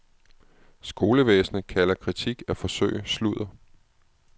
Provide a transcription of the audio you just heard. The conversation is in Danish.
Skolevæsenet kalder kritik af forsøg sludder.